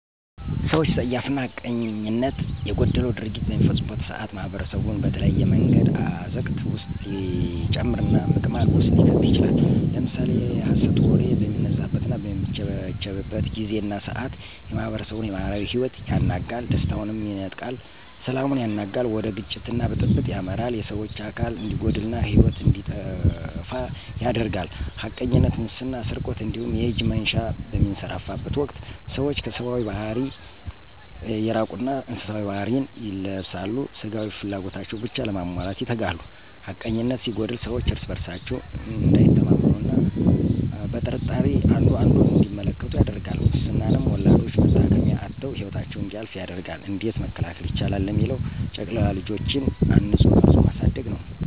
ሰወች ፀያፍና ሐቀኝነት የጎደለው ድርጊት በሚፈጽሙበት ሰዓት ማኅበረሰቡን በተለያየ መንገድ አዘቅት ውስጥ ሊጨምርና ምቅማቅ ውስጥ ሊከተው ይችላል። ለምሳሌ የሀሰት ወሬ በሚነዛዘትና በሚቸረቸርበት ጊዜና ሰዓት የማህበረሰቡን የማህበራዊ ሂወት ያናጋል፥ ደስታውንም ይነጥቃል፥ ሰላሙን ያናጋል፥ ወደ ግጭትና ብጥብጥ ያመራል፣ የሰወች አካል እንዲጎድልና ሂወት እንዲቀጠፉ ያደርጋል። ሀቀኝነት፥ ሙስና ስርቆት እንዲሁም የእጅ መንሻ በሚንሰራፋበት ወቅት ሰወች ከሰባዊ ባህሪያት እየራቁና እንስሳዊ ባህሪ ን ይለብሳሉ ስጋዊ ፍላጎታቸውን ብቻ ለማሟላት ይተጋሉ። ሀቀኝነነት ሲጎድል ሰወች እርስ በርሳቸው እንዳይተማመኑ አና ቀጥርጣሬ አንዱ አንዱን እንዲመለከቱ ያደርጋል። ሙስናም ወላዶች መታከሚያ አተው ሂወታቸው እንዲያልፍ ያደርጋል። እንዴት መከላከል ይቻላል ለሚለው ጨቅላ ልጆችን አንጾ ቀርጾ ማሳደግ ነወ።